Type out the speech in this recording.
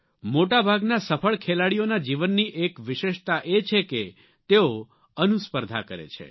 મોટા ભાગના સફળ ખેલાડીઓના જીવનની એક વિશેષતા એ છે કે તેઓ અનુસ્પર્ધા કરે છે